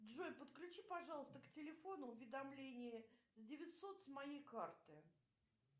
джой подключи пожалуйста к телефону уведомления с девятьсот с моей карты